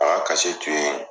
A ka tun ye